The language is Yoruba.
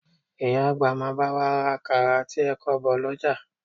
Ìyá àgbà máa bá wa ra àkàrà àti ẹ̀kọ bọ̀ lọ́jà